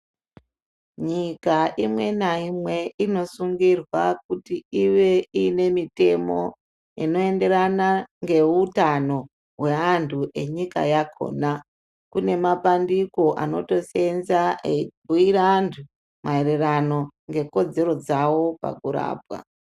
Nyika imwe naimwe inosungirwa kuti iite mitemo Unoenderano nehutano wevantu vakona kune mapandiko anosenza eibhuira antu maererano nekodzero dzawo pakurapa.